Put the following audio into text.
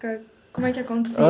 Como é que acontecia?